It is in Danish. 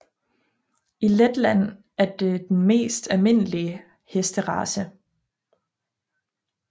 I Letland er det den mest almindelige hesterace